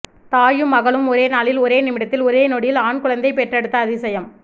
தாயும் மகளும் ஒரே நாளில் ஒரே நிமிடத்தில் ஒரெ நொடியில் ஆண்குழந்தை பெற்றெடுத்த அதிசயம்